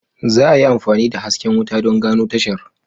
Za a yi amfani da hasken wuta don gano tashar.